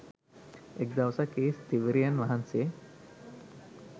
එක් දවසක් ඒ ස්ථවිරයන් වහන්සේ